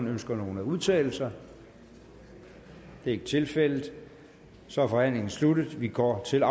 ønsker nogen at udtale sig det er ikke tilfældet så er forhandlingen sluttet og vi går til